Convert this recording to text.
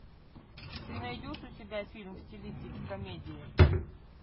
ты найдешь у себя фильм в стилистике комедии